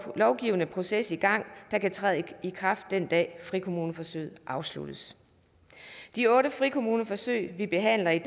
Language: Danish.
lovgivende proces i gang der kan træde i kraft den dag frikommuneforsøget afsluttes de otte frikommuneforsøg vi behandler i